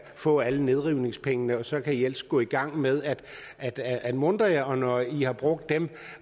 få alle nedrivningspengene og så ellers gå i gang med at at muntre jer og når i har brugt dem